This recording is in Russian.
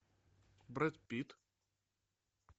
брэд питт